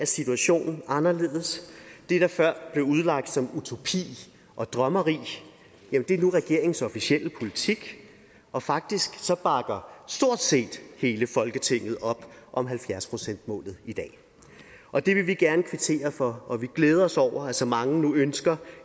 situationen er anderledes det der før blev udlagt som utopi og drømmeri er nu regeringens officielle politik og faktisk bakker stort set hele folketinget op om halvfjerds procentsmålet i dag og det vil vi gerne kvittere for og vi glæder os over at så mange nu ønsker